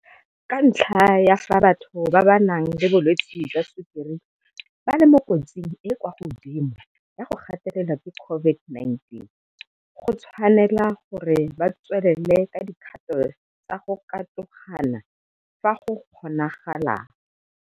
Ka ntlha ya fa batho ba ba nang le bolwetse jwa tshukiri ba le mo kotsing e e kwa godimo ya go gatelelwa ke COVID-19, go tshwaelwa gore go tswelelwe ka dikgato tsa go katogana fa go kgonagalang.